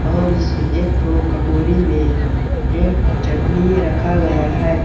और इस एक ठो कटोरी में ये चटनी रखा गया है।